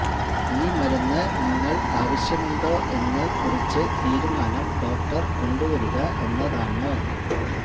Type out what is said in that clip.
ഈ മരുന്ന് നിങ്ങൾ ആവശ്യമുണ്ടോ എന്ന് കുറിച്ച് തീരുമാനം ഡോക്ടർ കൊണ്ടുവരിക എന്നതാണ്